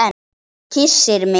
Kyssir mig.